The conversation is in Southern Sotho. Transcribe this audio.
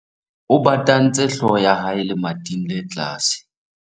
o batantse hlooho ya hae lemating le tlase